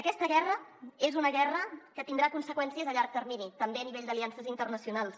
aquesta guerra és una guerra que tindrà conseqüències a llarg termini també a nivell d’aliances internacionals